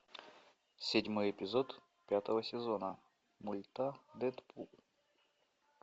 седьмой эпизод пятого сезона мульта дэдпул